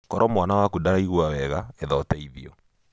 Koro mwana waku ndaraigua wega, etha ũteithio.